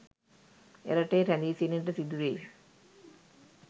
එරටේ රැඳී සිටින්නට සිදුවෙයි